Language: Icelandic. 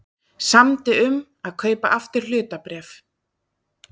Samdi um að kaupa aftur hlutabréf